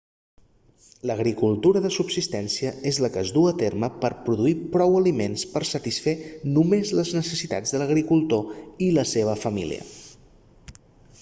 l'agricultura de subsistència és la que es duu a terme per a produir prou aliments per a satisfer només les necessitats de l'agricultor i la seva família